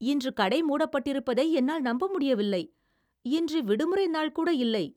இன்று கடை மூடப்பட்டிருப்பதை என்னால் நம்ப முடியவில்லை! இன்று விடுமுறை நாள்கூட இல்லை.